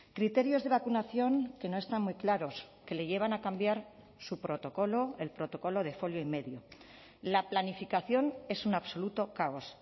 criterios de vacunación que no están muy claros que le llevan a cambiar su protocolo el protocolo de folio y medio la planificación es un absoluto caos